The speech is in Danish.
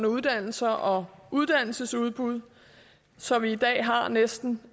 uddannelser og uddannelsesudbud så vi i dag har næsten